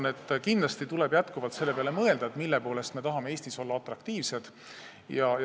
Ma arvan, et kindlasti tuleb jätkuvalt mõelda selle peale, mille poolest me tahame Eestis olla atraktiivsed.